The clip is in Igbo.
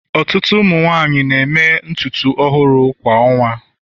ọtụtụ ụmụ nwanyị na-eme ntutu ọhụrụ kwa ọnwa